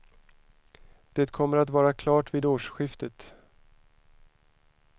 Det kommer att vara klart vid årsskiftet.